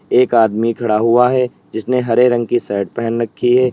एक आदमी खड़ा हुआ है जिसने हरे रंग की शर्ट पहन रखी है।